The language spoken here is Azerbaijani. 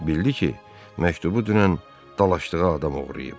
Bildi ki, məktubu dünən dalaşdığı adam oğurlayıb.